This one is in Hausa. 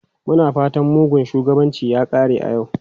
Muna fatan mugun shugabanci ya kare a yau.